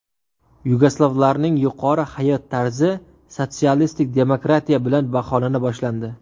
Yugoslavlarning yuqori hayot tarzi sotsialistik demokratiya bilan baholana boshlandi.